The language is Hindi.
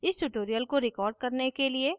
इस tutorial को record करने के लिए मैं उपयोग कर रही हूँ